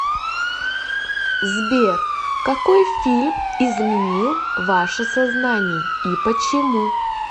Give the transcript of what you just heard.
сбер какой фильм изменил ваше сознание и почему